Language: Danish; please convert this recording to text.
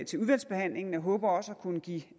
til udvalgsbehandlingen og jeg håber også at kunne give